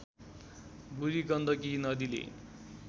बूढी गण्डकी नदीले